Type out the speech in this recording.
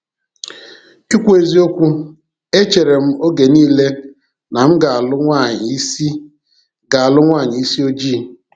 Ikwu eziokwu, e cheere m oge niile na m ga-alụ nwaanyị isi ga-alụ nwaanyị isi ojii.